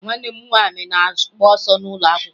Nwanne m nwaanyị na-agba ọsọ n'ụlọakwụkwọ ya